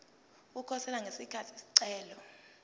ukukhosela ngesikhathi isicelo